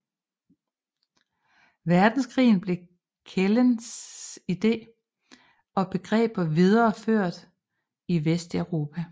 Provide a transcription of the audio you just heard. Verdenskrig blev Kjellens ideer og begreber videreført i Vesteuropa